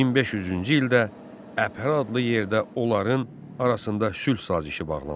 1500-cü ildə Əhrə adlı yerdə onların arasında sülh sazişi bağlandı.